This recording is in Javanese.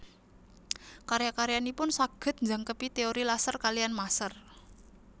Karya karyanipun saged njangkepi teori laser kaliyan maser